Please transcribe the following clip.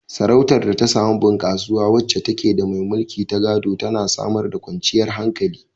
Sarautar da ta samu bunkasuwa, wacce take da mai mulki na gado, tana samar da kwanciyar hankali.